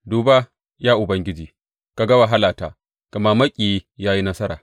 Duba, ya Ubangiji, ka ga wahalata, gama maƙiyi ya yi nasara.